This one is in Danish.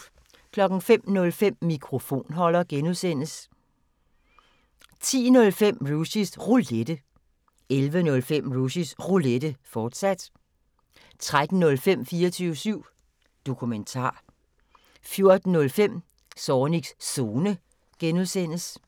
05:05: Mikrofonholder (G) 10:05: Rushys Roulette 11:05: Rushys Roulette, fortsat 13:05: 24syv Dokumentar 14:05: Zornigs Zone (G)